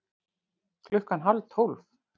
Klukkan hálf tólf